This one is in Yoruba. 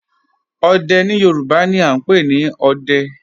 Òdè ni Yorùbá ni à n pẹ̀ ni "Òdẹ̀"